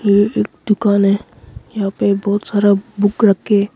ये एक दुकान है यहां पे बहुत सारा बुक रखे--